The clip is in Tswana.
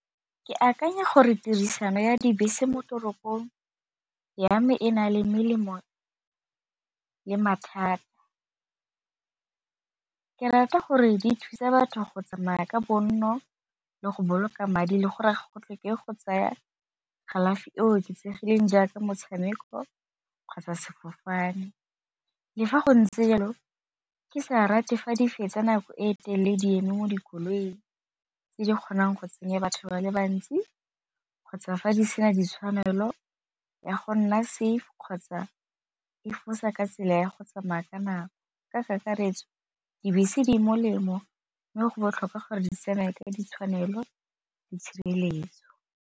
Ke akanya gore tirisano ya dibese mo toropong ya me e na le melemo le mathata, ke rata gore di thusa batho go tsamaya ka bonno le go boloka madi le gore go tlhoke go tsaya kalafi e oketsegileng jaaka motshameko kgotsa sefofane. Le fa go ntse jalo ke sa rate fa di fetsa nako e telele di eme mo dikoloing tse di kgonang go tsenya batho ba le bantsi kgotsa fa di sena ditshwanelo ya go nna safe kgotsa e fosa ka tsela ya go tsamaya ka nako. Ka kakaretso dibese di molemo mme go botlhokwa gore di tsamaya ka ditshwanelo le tshireletso.